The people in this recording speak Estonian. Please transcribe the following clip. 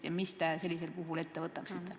Ja mis te sel puhul ette võtaksite?